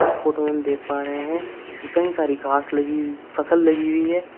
इस फोटो में हम देख पा रहे हैं कि कई सारी घास लगी हुई फसल लगी हुई है।